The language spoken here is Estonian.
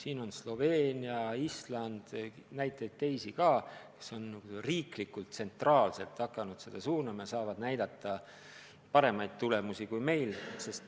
Peale Sloveenia ja Islandi on teisigi riike, kes on tsentraalselt hakanud seda sportimist suunama, ja nad saavad näidata paremaid tulemusi kui meie.